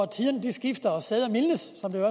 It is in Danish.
tiderne skifter og sæder mildnes som det